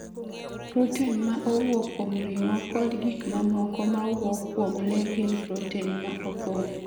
Protin ma owuok kuom ring'o kod gik mamoko ma wuok kuom le gin protin ma opong'